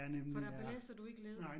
For der belaster du ikke led